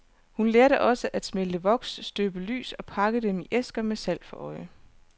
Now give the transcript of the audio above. Hun lærte også at smelte voks, støbe lys og pakke dem i æsker med salg for øje.